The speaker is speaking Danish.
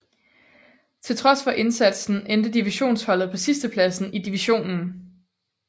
Til trods for indsatsen endte divisionsholdet på sidstepladsen i divisionen